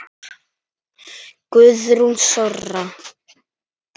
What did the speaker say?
Guðrún Þóra.